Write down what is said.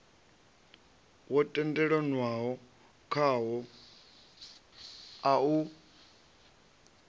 wo tendelanwaho khawo a u